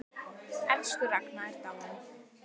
Elsku Ragna er dáin.